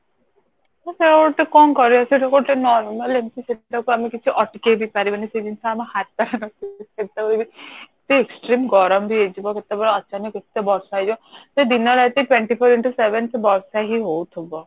ଅ ଉଁ ସେ ଗୋଟେ କଣ କରିବା ସେଟା ଗୋଟେ normal ତାକୁ ଆମେ କିଛି ଅଟକେଇବି ପାରିବେନି ସେ ଜିନଷ ଆମର ଯେତେବେଳେ ବି extreme ଗରମ ବି ହେଇଯିବା ଅଚାନକ କେତେବେଳେ ବର୍ଷା ବ ହେଇଯିବ ସେ ଦିନ ରାତି Twenty Four Into seven ବର୍ଷା ହି ହଉଥିବ